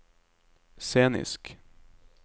scenisk